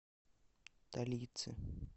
талицы